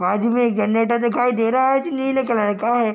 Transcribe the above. बाजू में एक जनरेटर दिखाई दे रहा है कि नहीं दिख रहा है | इ का है |